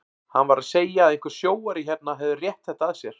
Hann var að segja að einhver sjóari hérna hefði rétt þetta að sér.